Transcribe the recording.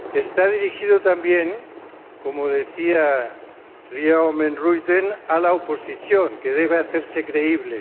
está dirigido también, como decía Ria Oomen Ruijten, a la oposición, que debe hacerse creíble